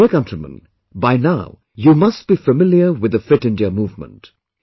My dear countrymen, by now you must be familiar with the Fit India Movement